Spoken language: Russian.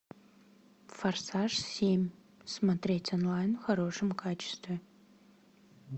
форсаж семь смотреть онлайн в хорошем качестве